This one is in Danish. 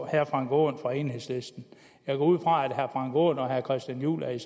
herre frank aaen fra enhedslisten jeg går ud fra at herre frank aaen og herre christian juhl er